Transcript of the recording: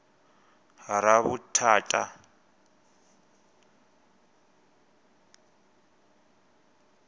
ravhuthata